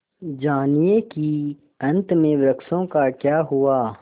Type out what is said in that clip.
जानिए कि अंत में वृक्षों का क्या हुआ